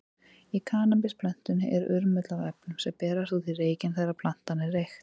Í kannabisplöntunni er urmull af efnum, sem berast út í reykinn þegar plantan er reykt.